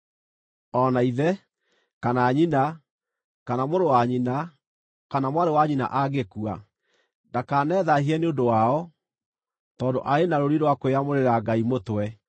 O na ithe, kana nyina, kana mũrũ wa nyina, kana mwarĩ wa nyina angĩkua, ndakanethaahie nĩ ũndũ wao, tondũ arĩ na rũũri rwa kwĩyamũrĩra Ngai mũtwe.